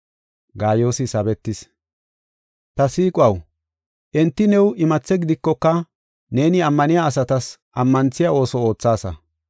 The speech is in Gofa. Ta siiquwaw, enti new imathe gidikoka, neeni ammaniya asatas ammanthiya ooso oothaasa.